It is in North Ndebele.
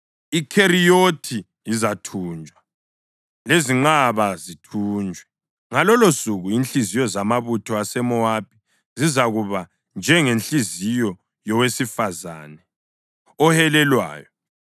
IKheriyothi izathunjwa, lezinqaba zithunjwe. Ngalolosuku inhliziyo zamabutho aseMowabi zizakuba njengenhliziyo yowesifazane ohelelwayo.